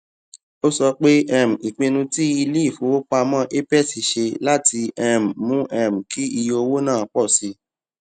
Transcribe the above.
ó sọ pé um ìpinnu tí iléifowopamọ apex ṣe láti um mú um kí iye owó náà pọ sí